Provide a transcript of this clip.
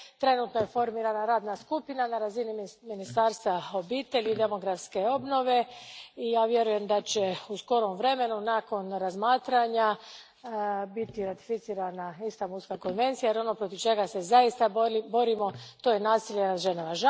Trenutno je formirana radna skupina na razini Ministarstva obitelji i demografske obnove i ja vjerujem da će u skorom vremenu nakon razmatranja biti ratificirana Istanbulska konvencija jer ono protiv čega se zaista borimo je nasilje nad ženama.